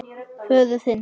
Föður þinn.